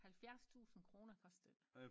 Halvfjerds tusinde kroner kostede det